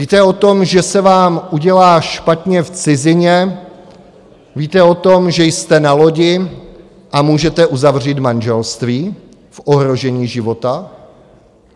Víte o tom, že se vám udělá špatně v cizině, víte o tom, že jste na lodi a můžete uzavřít manželství v ohrožení života?